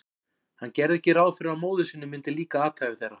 Hann gerði ekki ráð fyrir að móður sinni myndi líka athæfi þeirra.